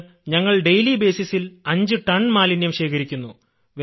ഇന്ന് ഞങ്ങൾ നിത്യേന അഞ്ചു ടൺ മാലിന്യം ശേഖരിക്കുന്നു